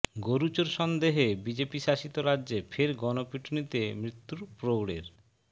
গরু চোর সন্দেহে বিজেপি শাসিত রাজ্যে ফের গণপিটুনিতে মৃত্যু প্রৌঢ়ের